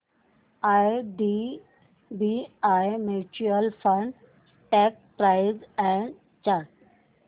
IDBI mutual fund stock price and chart